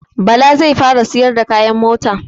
Bala zai fara siyar da kayan mota